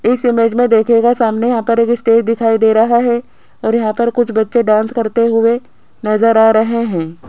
इस इमेज में देखिएगा यहां पर एक स्टेज़ दिखाई दे रहा है और यहां पर कुछ बच्चे डांस करते हुए नजर आ रहे हैं।